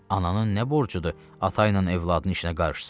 Ananın nə borcudur ata ilə övladının işinə qarışsın.